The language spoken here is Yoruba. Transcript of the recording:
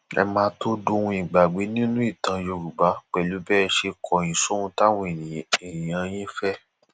ẹ máà tóó dohun ìgbàgbé nínú ìtàn yorùbá pẹlú bẹ ẹ ṣe kọyìn sóhun táwọn èèyàn yín fẹ